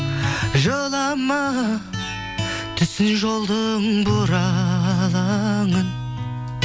жылама түсін жолдың бұралаңын